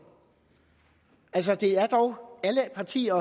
altså det er dog alle partier